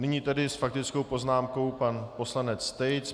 Nyní tedy s faktickou poznámkou pan poslanec Tejc.